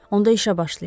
Onda işə başlayaq.